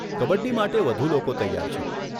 કબડ્ડી માટે વધુ લોકો તૈયાર છે.